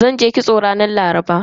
Zanje kitso ranar Laraba.